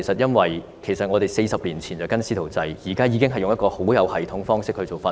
因為我們40年前推行"師徒制"，現在則用一個很有系統的方式進行訓練。